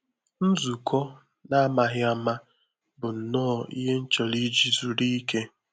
Nzukọ n’ámàghị áma bụ nnọọ ihe m chọrọ iji zuru ike